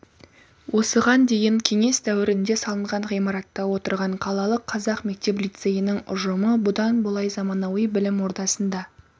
осыған дейін кеңес дәуірінде салынған ғимаратта отырған қалалық қазақ мектеп-лицейінің ұжымы бұдан былай заманауи білім ордасында